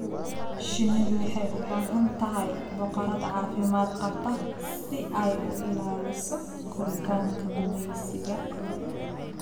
Shinnidu waxay u baahan tahay boqorad caafimaad qabta si ay u ilaaliso koritaanka gumaysiga.